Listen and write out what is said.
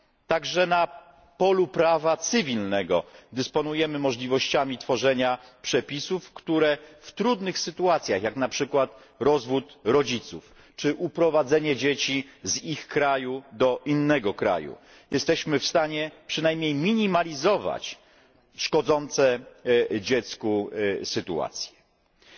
Także na polu prawa cywilnego dysponujemy możliwościami tworzenia przepisów, które w trudnych sytuacjach, jak na przykład rozwód rodziców czy uprowadzenie dzieci z ich kraju do innego kraju, pozwolą przynajmniej zminimalizować szkodliwe skutki tej sytuacji dla dziecka.